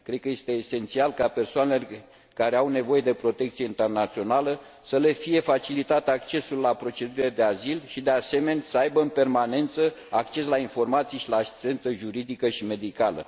Cred că este esențial ca persoanelor care au nevoie de protecție internațională să le fie facilitat accesul la procedurile de azil și, de asemenea, să aibă în permanență acces la informații și la asistență juridică și medicală.